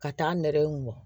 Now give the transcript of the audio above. Ka taa nɛrɛ in mɔ